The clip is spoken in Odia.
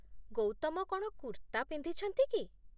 ଗୌତମ କ'ଣ କୁର୍ତ୍ତା ପିନ୍ଧିଛନ୍ତି କି?